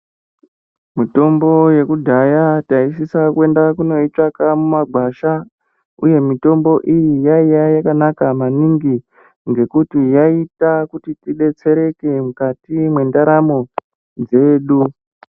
Mitombo yekudhaya taisisa kundoitsvaga mumagwasha uye mitombo iyi yainge yakanaka maningi ngekuti yaita kuti tidetsereke mukati mendaramo dzedu.